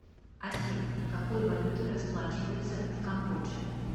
афина какой валютой расплачиваются в камбодже